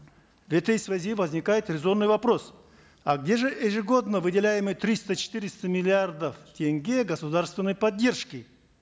в этой связи возникает резонный вопрос а где же ежегодно выделяемые триста четыреста миллиардов тенге государственной поддержки